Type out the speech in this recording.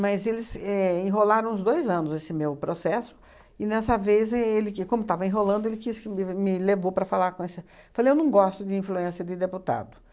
Mas eles éh enrolaram uns dois anos esse meu processo, e nessa vez, é ele que, como estava enrolando, ele quis que me me levou para falar com essa... Falei, eu não gosto de influência de deputado.